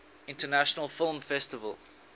international film festival